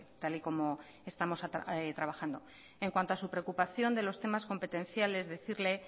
tal y como estamos trabajando en cuanto a su preocupación de los temas competenciales decirle